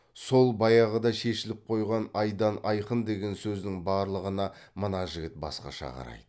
сол баяғыда шешіліп қойған айдан айқын деген сөздің барлығына мына жігіт басқаша қарайды